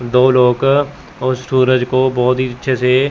दो लोग और सूरज को बहुत ही अच्छे से--